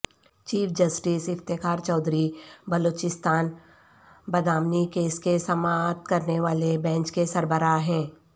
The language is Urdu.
چیف جسٹس افتخار چودھری بلوچستان بدامنی کیس کی سماعت کرنے والے بینچ کے سربراہ ہیں